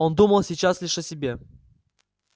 он думал сейчас лишь о себе